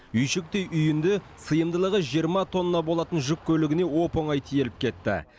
үйшіктей үйінді сыйымдылығы жиырма тонна болатын жүк көлігіне оп оңай тиеліп кетті